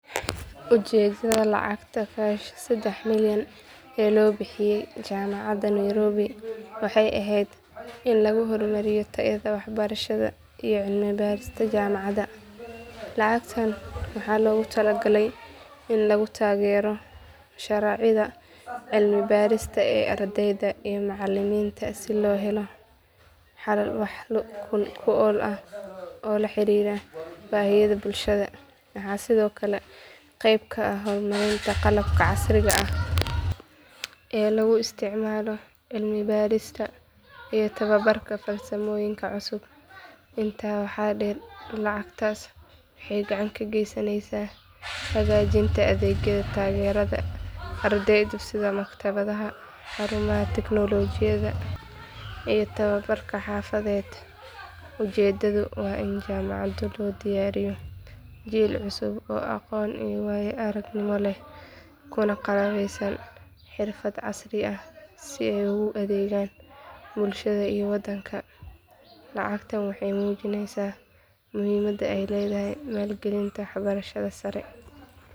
Ujeedada lacag kash sedex milyan ee loo bixiye jamacada Nairobi waxeey eheed in lagu hor mariyo tayada wax barashada iyo cilmi barista jamacada, lacagtan waxaa loogu tala galay in lagu taagero mashrucyada cilmi barista ee ardeyda iyo macaliminta si loo helo wax kuool ah oo laxariira bahiyada bulshada, waxaa sido kale qeyb ka ah hubinta qalabka casriga ah ee lagu isticmaalo cilmi barista iyo tababarka farsamooyonka cusub, intaas waxaa deer lacagtaas waxeey gacan ka gasaneysa hagajinta adeegyada taagerida sida maktabadaha, xarumaha teknolojiyada iyo tababarka xafadeed, ujeedada waa in jamacada loo diyaariyo jiil cusub oo aqoon iyo waayo aragnimo leh kuna qalabeesan xirfad casri ah si aay ugu adeegan bulshada iyo wadanka, lacagtan waxeey mujineysa muhiimada aay ledahay maalin galinta wax barashada sare.